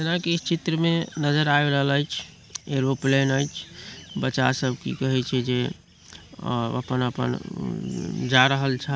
जाना की इ चित्र में नज़र आ रहल ऐछ एरोप्लेन ऐछ बच्चा सब अपन-अपन जा रहल छा।